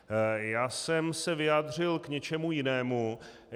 Já jsem se vyjádřil k něčemu jinému.